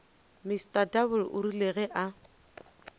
mr double rile ge a